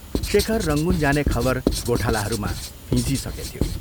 शेखर रंगून जाने खबर गोठालाहरूमा फिंजिइसकेथ्यो।